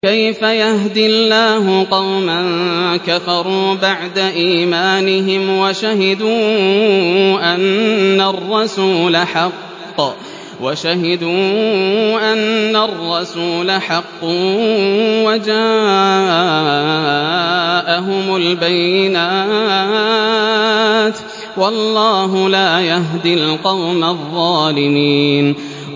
كَيْفَ يَهْدِي اللَّهُ قَوْمًا كَفَرُوا بَعْدَ إِيمَانِهِمْ وَشَهِدُوا أَنَّ الرَّسُولَ حَقٌّ وَجَاءَهُمُ الْبَيِّنَاتُ ۚ وَاللَّهُ لَا يَهْدِي الْقَوْمَ الظَّالِمِينَ